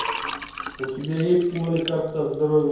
у тебя есть кино лекарство от здоровья